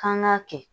K'an k'a kɛ